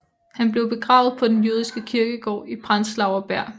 Han blev begravet på den jødiske kirkegård i Prenzlauer Berg